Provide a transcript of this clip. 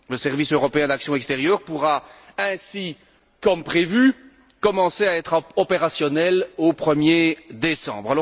Le service européen d'action extérieure pourra ainsi, comme prévu, commencer à être opérationnel au 1er décembre.